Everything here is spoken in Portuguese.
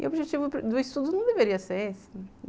E o objetivo do estudo não deveria ser esse.